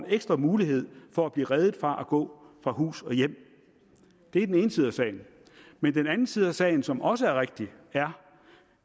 ekstra mulighed for at blive reddet fra at gå fra hus og hjem det er den ene side af sagen men den anden side af sagen som også er rigtig er